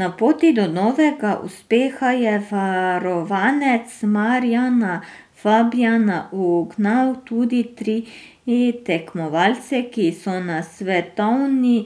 Na poti do novega uspeha je varovanec Marjana Fabjana ugnal tudi tri tekmovalce, ki so na svetovni